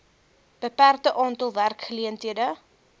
beperkte aantal werkgeleenthede